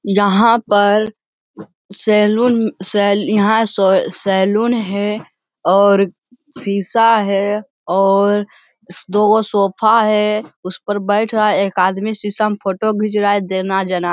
यहाँ पर सैलून सैल यहॉं सोए सैलून है और सीसा है और दो गो सोफ़ा है उस पर बैठ रहा है एक आदमी सीसा में फ़ोटो घिच रहा है देना जना।